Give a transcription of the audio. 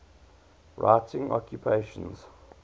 writing occupations